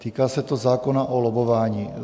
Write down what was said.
Týká se to zákona o lobbování.